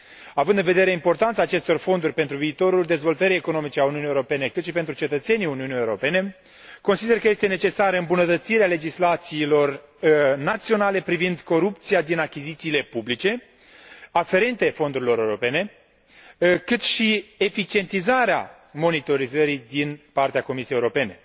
Având în vedere importanța acestor fonduri pentru viitorul dezvoltării economice a Uniunii Europene, cât și pentru cetățenii Uniunii Europene, consider că este necesară îmbunătățirea legislațiilor naționale privind corupția din achizițiile publice aferente fondurilor europene, cât și eficientizarea monitorizării din partea Comisiei Europene.